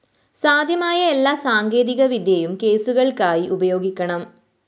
സാധ്യമായ എല്ലാ സാങ്കേതിക വിദ്യയും കേസുകള്‍ക്കായി ഉപയോഗിക്കണം